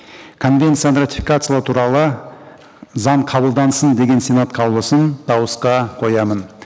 конвенцияны ратификациялау туралы заң қабылдансын деген сенат қаулысын дауысқа қоямын